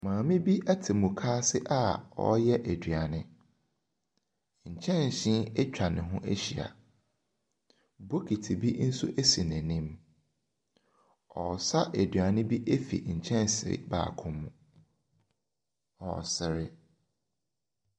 Maame bi ɛte mukaase a ɔreyɛ aduane . Nkyɛnse ɛtwa ne ho ɛhyia. Bokiti bi nso esi n'anim. Ɔresa aduane bi ɛfiri kyɛnse baako mu. ɔresre.